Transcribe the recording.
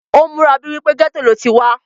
ó múra bíi wípé gẹ́tò ló ti wá